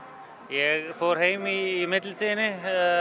ég fór heim í millitíðinni